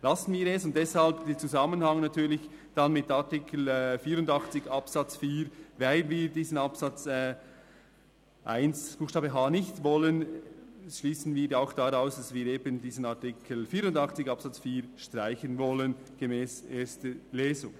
Lassen wir es, und deshalb natürlich im Zusammenhang mit Artikel 84 Absatz 4 – weil wir diesen Absatz 1 Buchstabe h nicht wollen –, schliessen wir daraus, dass wir diesen Artikel 84 Absatz 4 streichen wollen, gemäss erster Lesung.